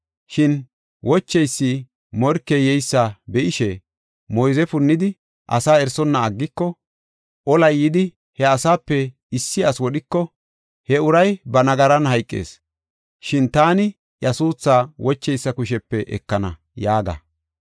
Shin wocheysi morkey yeysa be7ishe, moyze punnidi asaa erisonna aggiko, olay yidi, he asaape issi asi wodhiko, he uray ba nagaran hayqees; shin taani iya suuthaa wocheysa kushepe ekana’ ” yaaga.